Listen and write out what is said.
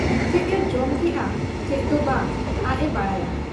ᱪᱮᱫ ᱮ ᱡᱚᱢ ᱠᱮᱜ ᱟ ᱪᱮᱫ ᱫᱚ ᱵᱟᱝ, ᱟᱡ ᱮ ᱵᱟᱰᱟᱭᱟ ᱾